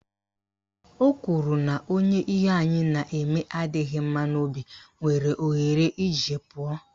O kwuru na onye ihe anyị na-eme adịghị mma n'obi nwere ohere iji pụọ